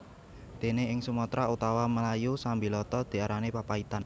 Dene ing Sumatra utawa Melayu sambiloto diarani papaitan